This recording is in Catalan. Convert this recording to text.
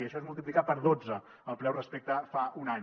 això és multiplicar per dotze el preu respecte a fa un any